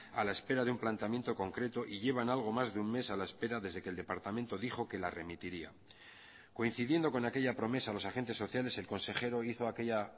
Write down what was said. a la espera de un planteamiento concreto y llevan algo más de un mes a la espera desde que el departamento dijo que la remitiría coincidiendo con aquella promesa los agentes sociales el consejero hizo aquella